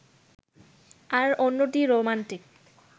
আর অন্যটি রোমান্টিক